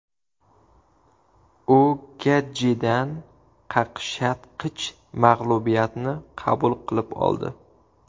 U Getjidan qaqshatqich mag‘lubiyatni qabul qilib oldi.